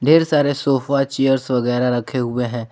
ढेर सारे sofa chairs वगैरा रखे हुए हैं।